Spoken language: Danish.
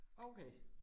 Okay